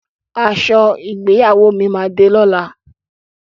Aṣọ ìgbéyàwó mi máa de lọ́la.